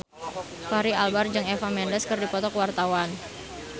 Fachri Albar jeung Eva Mendes keur dipoto ku wartawan